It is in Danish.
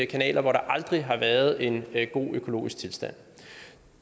kanaler hvor der aldrig har været en god økologisk tilstand